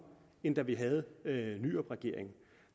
end da vi havde nyrupregeringen